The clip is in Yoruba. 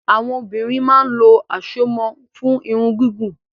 Àwọn obìnrin máa ń lo àsomọ́ fún Irun gígùn